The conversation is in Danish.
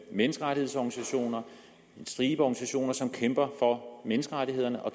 menneskerettighedsorganisationer en stribe organisationer som kæmper for menneskerettighederne og